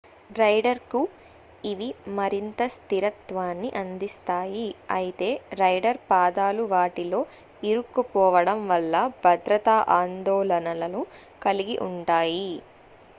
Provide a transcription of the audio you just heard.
rider కు ఇవి మరింత స్థిరత్వాన్ని అందిస్తాయి అయితే రైడర్ పాదాలు వాటిలో ఇరుక్కుపోవడం వల్ల భద్రతా ఆందోళనలను కలిగి ఉంటాయి